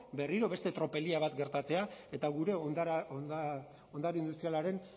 berriro beste tropelia bat gertatzea eta gure ondare industrialaren